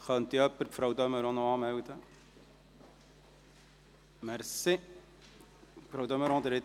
– Könnte jemand Frau de Meuron für die Rednerliste anmelden?